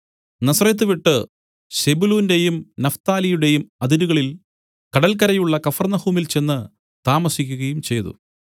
Nazareth വിട്ടു സെബൂലൂന്റെയും നഫ്താലിയുടെയും അതിരുകളിൽ കടല്ക്കരെയുള്ള കഫർന്നഹൂമിൽ ചെന്ന് താമസിക്കുകയും ചെയ്തു